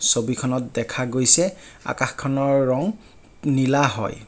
ছবিখনত দেখা গৈছে আকাশখনৰ ৰং নীলা হয়।